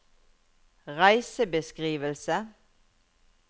reisebeskrivelse